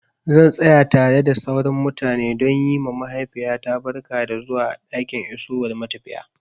Zan tsaya tare da sauran mutane don yi ma mahaifiyata barka da zuwa a ɗakin isowar matafiya.